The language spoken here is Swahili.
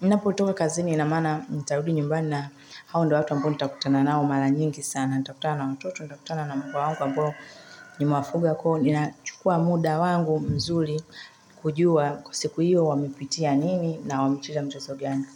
ninapotoka kazini ina maana ntarudi nyumba na hao ndio watu ambao nitakutana nao mara nyingi sana, nitakutana na watoto, nitakutana na mbwa wangu ambao nimewafuga, inachukua muda wangu mzuri kujua kwa siku hiyo wamepitia nini na wamecheza mchezo gani.